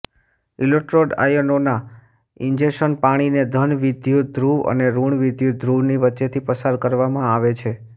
electrode ionisation પાણીને ધન વિદ્યુતધ્રુવ અને ઋણ વિદ્યુતધ્રુવની વચ્ચેથી પસાર કરવામાં આવે છે